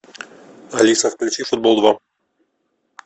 алиса включи футбол два